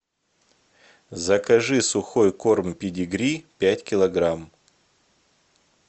закажи сухой корм педигри пять килограмм